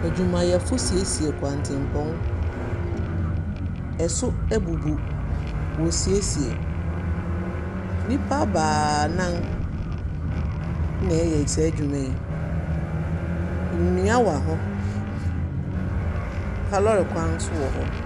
Edwumayɛfo siesie kwantepɔn, ɛso ebubu. Wosiesie, nipa baanan nna ɛyɛ da dwuma yi. Ndua wɔ hɔ, kaa lɔɔre kwan so wɔ hɔ.